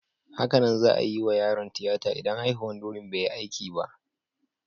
Hakanan za'a iya yiwa yaron tiyata idan haihuwan durin bai yi aiki ba.